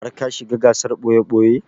Har ka shiga gasar ɓoye-ɓoye?